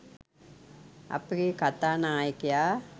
අපගේ කතා නායකයා